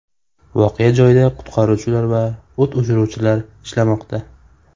Voqea joyida qutqaruvchilar va o‘t o‘chiruvchilar ishlamoqda.